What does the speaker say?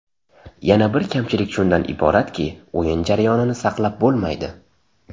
Yana bir kamchilik shundan iboratki, o‘yin jarayonini saqlab bo‘lmaydi.